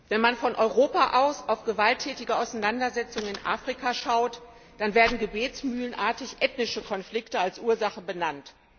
Frau Präsidentin! Wenn man von Europa aus auf gewalttätige Auseinandersetzungen in Afrika schaut, dann werden gebetsmühlenartig ethnische Konflikte als Ursache benannt.